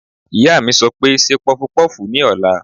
Ìyá mi sọ pé "ṣe pọpọ́fùù ní ọ̀la!"